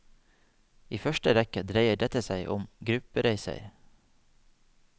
I første rekke dreier dette seg om gruppereiser.